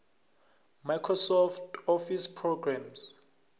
microsoft office programmes